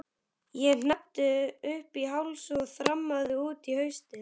Ég hneppti upp í háls og þrammaði út í haustið.